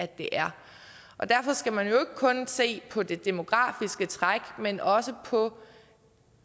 det er og derfor skal man jo kun se på det demografiske træk men også på